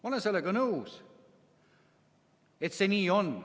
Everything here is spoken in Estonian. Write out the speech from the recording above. Ma olen nõus, et see nii on.